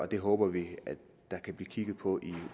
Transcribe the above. det håber vi der kan blive kigget på i